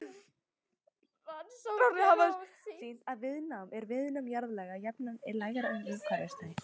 Rannsóknir hafa sýnt að á jarðhitasvæðum er viðnám jarðlaga jafnan lægra en umhverfis þau.